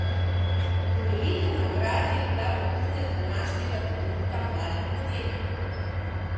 Podelitev nagrad je bila vrhunec današnjega dogodka Mladi podjetnik?